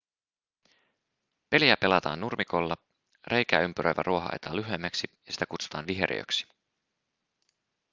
peliä pelataan nurmikolla reikää ympäröivä ruoho ajetaan lyhyemmäksi ja sitä kutsutaan viheriöksi